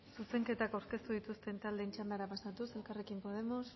zuzenketa aurkeztu dituzten taldeen txandara pasatuz elkarrekin podemos